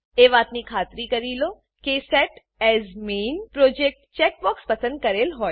એ વાતની ખાતરી કરી લો કે set as main project set as main project checkbox પસંદ કરેલ હોય